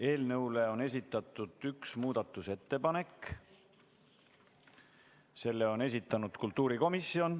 Eelnõu kohta on esitatud üks muudatusettepanek, selle on esitanud kultuurikomisjon.